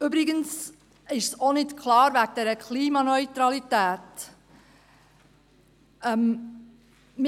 Übrigens ist auch das mit der Klimaneutralität nicht klar.